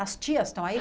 As tias estão aí?